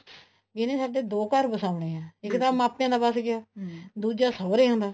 ਵੀ ਇਹਨੇ ਸਾਡੇ ਦੋ ਘਰ ਵਸਾਉਣੇ ਆ ਇੱਕ ਤਾਂ ਮਾਪੇਆਂ ਦਾ ਵਸ ਗਿਆ ਅਮ ਦੂਜਾ ਸੋਹਰਿਆਂ ਦਾ